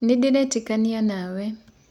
Nĩndĩretĩkanĩa nawe.